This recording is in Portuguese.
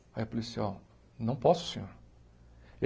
Aí o policial, eu não posso, senhor.